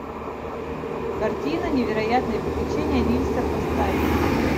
картина невероятные приключения нильса поставь